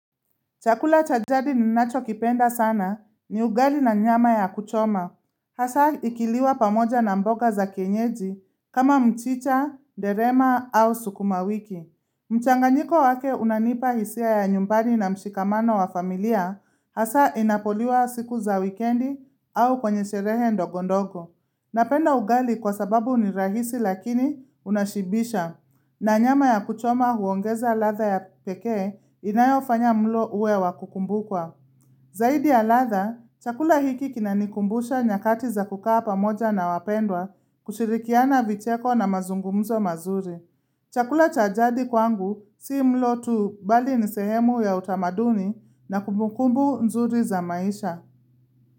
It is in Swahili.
Chakula cha jadi ninachokipenda sana ni ugali na nyama ya kuchoma. Hasa ikiliwa pamoja na mboga za kienyeji kama mchicha, derema au sukuma wiki. Mchanganyiko wake unanipa hisia ya nyumbani na mshikamano wa familia hasa inapoliwa siku za wikendi au kwenye sherehe ndogondogo. Napenda ugali kwa sababu ni rahisi lakini unashibisha. Na nyama ya kuchoma huongeza ladha ya peke inayofanya mlo uwe wakukumbukwa. Zaidi ya ladha, chakula hiki kinanikumbusha nyakati za kukaa pamoja na wapendwa kushirikiana vicheko na mazungumzo mazuri. Chakula cha jadi kwangu si mlo tu bali nisehemu ya utamaduni na kumukumbu nzuri za maisha.